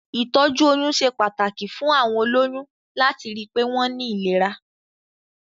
Ìtọ́jú oyún ṣe pàtàkì fún àwọn olóyún láti ri pé wọ́n ní ìlera.